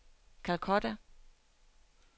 Calcutta